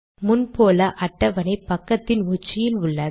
முன் போல அட்டவணை பக்கத்தின் உச்சியில் உள்ளது